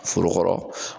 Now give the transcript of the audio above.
Foro kɔrɔ